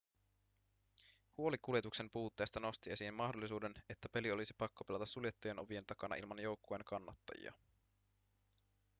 huoli kuljetuksen puutteesta nosti esiin mahdollisuuden että peli olisi pakko pelata suljettujen ovien takana ilman joukkueen kannattajia